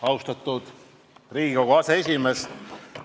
Austatud Riigikogu aseesimees!